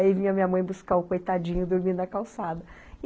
Aí vinha a minha mãe buscar o coitadinho dormindo na calçada.